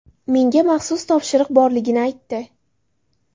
Menga maxsus topshiriq borligini aytdi.